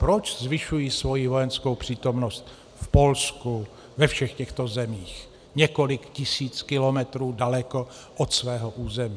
Proč zvyšují svoji vojenskou přítomnost v Polsku, ve všech těchto zemích, několik tisíc kilometrů daleko od svého území?